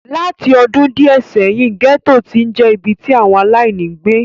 Láti ọdún díẹ̀ sẹ́yìn, gẹ́tò ti ń je ibi tí àwọn aláìní ń gbé.